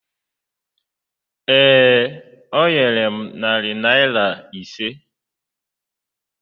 Ee, o nyere m narị naịra ise.